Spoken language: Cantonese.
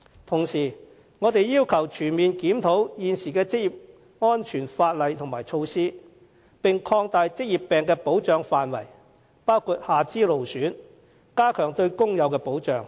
同時，我們要求全面檢討現行的職業安全法例和措施，並且擴大職業病的保障範圍，包括下肢勞損，加強對工友的保障。